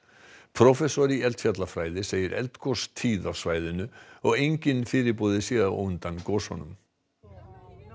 prófessor í eldfjallafræði segir eldgos tíð á svæðinu og enginn fyrirboði sé á undan gosunum